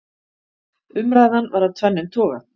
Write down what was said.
Umræðan var af tvennum toga.